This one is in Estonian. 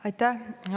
Aitäh!